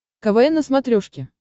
квн на смотрешке